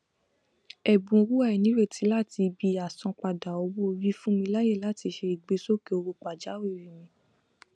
ẹbùn owó àìnírètí láti ibi àsanpadà owóorí fún mi láàyè láti ṣe ìgbésókè owó pàjáwìrì mi